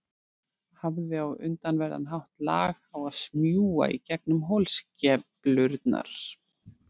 Hafði á undraverðan hátt lag á að smjúga í gegnum holskeflurnar.